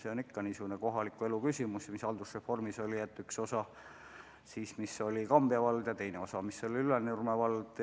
See on niisugune kohaliku elu küsimus, mis tekkis haldusreformi käigus, kus uue haldusüksuse üheks osaks oli Kambja vald ja teiseks osaks Ülenurme vald.